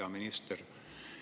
Hea minister!